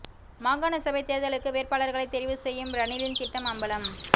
மாகாண சபை தேர்தல்களுக்கு வேட்பாளர்களை தெரிவு செய்யும் ரணிலின் திட்டம் அம்பலம்